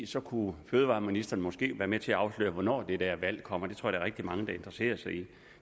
så kunne fødevareministeren måske være med til at afsløre hvornår det der valg kommer det tror jeg rigtig mange der interesserer sig